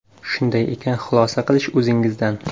Shunday ekan, xulosa qilish o‘zingizdan”.